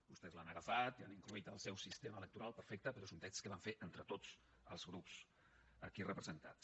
vostès l’han agafat i hi han inclòs el seu sistema electoral perfecte però és un text que vam fer entre tots els grups aquí representats